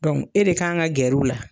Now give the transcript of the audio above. Dɔnku e de k'an ka gɛrɛw la.